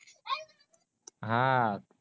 हा